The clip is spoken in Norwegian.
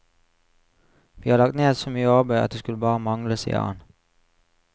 Vi har lagt ned så mye arbeid, at det skulle bare mangle, sier han.